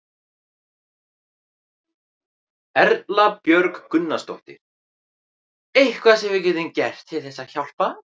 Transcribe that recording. Erla Björg Gunnarsdóttir: Eitthvað sem við getum gert til þess að hjálpa?